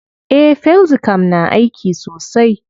Eh, felxicam na aiki sosai.